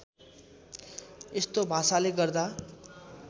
यस्तो भाषाले गर्दा